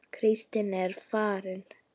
Kristín er farin